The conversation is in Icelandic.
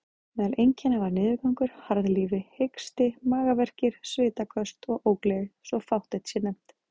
Meðal einkenna var niðurgangur, harðlífi, hiksti, magaverkir, svitaköst og ógleði, svo fátt eitt sé nefnt.